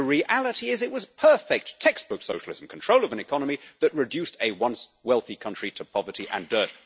The reality is it was perfect textbook socialism control of an economy that reduced a once-wealthy country to poverty and dirt.